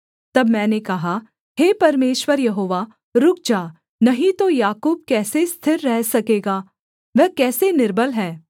तब मैंने कहा हे परमेश्वर यहोवा रुक जा नहीं तो याकूब कैसे स्थिर रह सकेगा वह कैसा निर्बल है